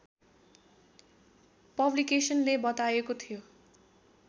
पब्लिकेसनले बताएको थियो